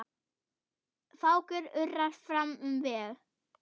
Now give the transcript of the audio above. Fákur urrar fram um veg.